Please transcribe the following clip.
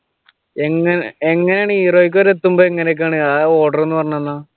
എങ്ങഎങ്ങനെ heroic വരെ എത്തുമ്പോൾ എങ്ങനൊക്കെയാണ് ആഹ് order ഒന്ന് പറഞ്ഞു തന്നെ